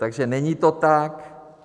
Takže není to tak.